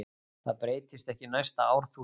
Það breytist ekki næsta árþúsund.